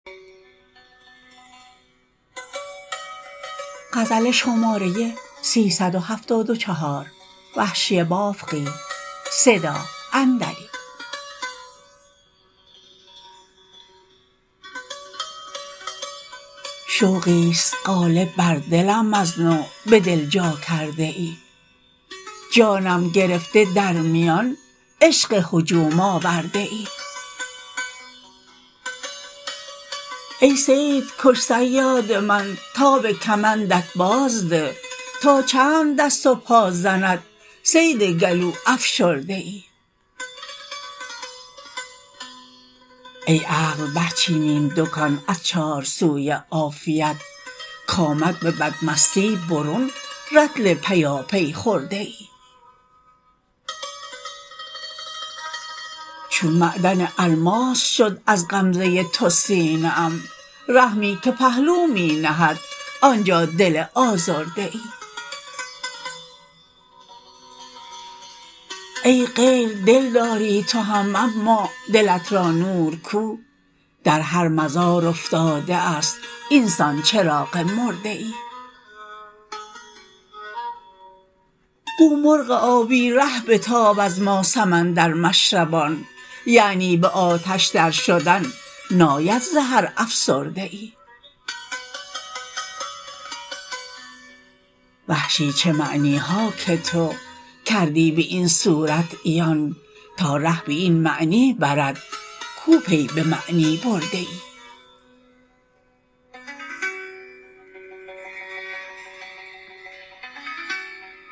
شوقیست غالب بر دلم ازنو به دل جا کرده ای جانم گرفته در میان عشق هجوم آورده ای ای صید کش صیاد من تاب کمندت بازده تا چند دست و پا زند صید گلو افشرده ای ای عقل برچین این دکان از چار سوی عافیت کامد به بد مستی برون رطل پیایی خورده ای چون معدن الماس شد از عمزه تو سینه ام رحمی که پهلو می نهد آنجا دل آزرده ای ای غیر دل داری تو هم اما دلت را نور کو در هر مزار افتاده است اینسان چراغ مرده ای گو مرغ آبی ره بتاب از ما سمندر مشربان یعنی به آتش در شدن ناید ز هر افسرده ای وحشی چه معنیها که تو کردی به این صورت عیان تا ره به این معنی برد کو پی به معنی برده ای